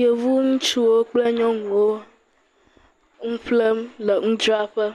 Yevu ŋutsuwo kple nyɔnuwo nu ƒflem le nudzraƒfe